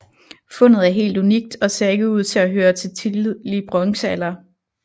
Fundet er helt unikt og ser ikke ud til at høre til tidlig bronzealder